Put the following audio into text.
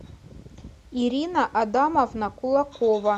ирина адамовна кулакова